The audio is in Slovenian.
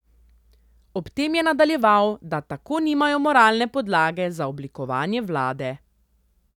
Ob tem je nadaljeval, da tako nimajo moralne podlage za oblikovanje vlade.